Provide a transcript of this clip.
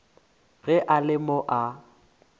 ge e le mo a